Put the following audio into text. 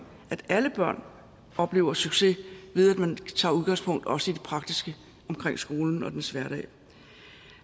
at alle børn oplever succes ved at man tager udgangspunkt også i det praktiske omkring skolen og dens hverdag